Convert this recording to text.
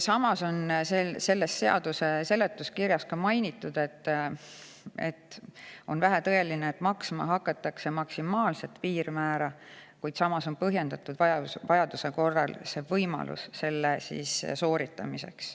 Samas on seaduse seletuskirjas mainitud, et on vähetõenäoline, et maksma hakatakse maksimaalse piirmäära alusel, kuid põhjendatud vajaduse korral see võimalus on.